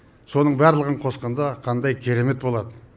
соның барлығын қосқанда қандай керемет болады